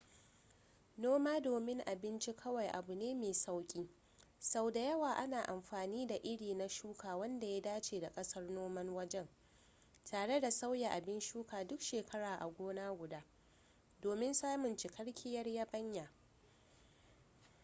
noma domin abinci kawai abu ne mai sauki sau da yawa ana amfani da iri na shuka wanda ya dace da kasar noman wajen tare da sauya abin shuka duk shekara a gona guda domin samun cikakkiyar yabanya